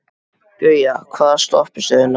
Gauja, hvaða stoppistöð er næst mér?